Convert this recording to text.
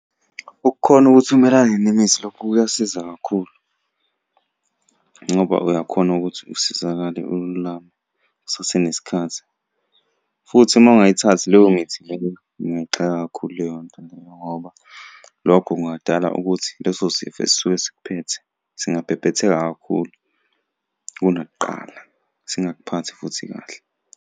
Ukukhona ukuthi umelane nemithi lokhu kuyasiza kakhulu, ngoba uyakhona ukuthi usizakale ululame kusasenesikhathi, futhi uma ungayithathi leyo mithi leyo, ungayixaka kakhulu leyo nto leyo ngoba, lokho kungadala ukuthi leso sifo esisuke sikuphethe singabhebhetheka kakhulu kunakuqala, singakuphathi futhi kahle.